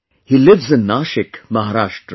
He lives in Nashik, Maharashtra